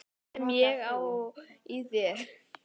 Sem ég á í þér.